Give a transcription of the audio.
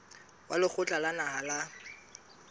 wa lekgotla la naha la